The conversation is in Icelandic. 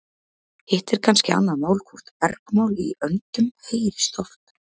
Hitt er kannski annað mál hvort bergmál í öndum heyrist oft.